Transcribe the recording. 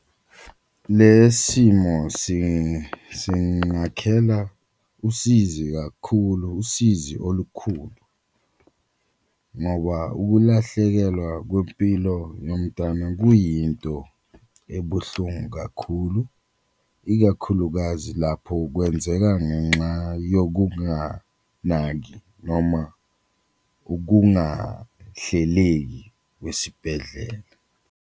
Le simo singakhela usizi kakhulu usizi olukhulu ngoba ukulahlekelwa kwempilo yomntwana kuyinto ebuhlungu kakhulu, ikakhulukazi lapho kwenzeka ngenxa yokunganaki noma ukungahleleki kwesibhedlela.